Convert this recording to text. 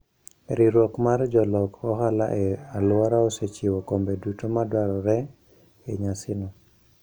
Riwruok mar jolok ohala e alworano osechiwo kombe duto madwarore e nyasino.